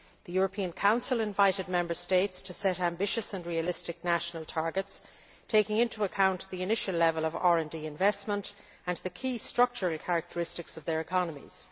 The European Council invited Member States to set ambitious and realistic national targets, taking into account the initial level of RD investment and the key structural characteristics of their economies.